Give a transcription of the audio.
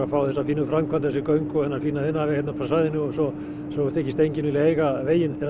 fá þessa fínu framkvæmd þessi fínu göng og þennan fína iðnaðarveg hérna upp að svæðinu og svo þykist enginn vilja eiga veginn þegar